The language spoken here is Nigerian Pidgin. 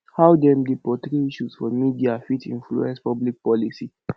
how dem dey portray issues for media fit influence public policy